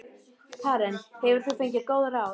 Karen: Hefur þú fengið góð ráð?